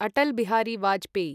Atal Bihari Vajpayee